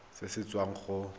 irp se se tswang go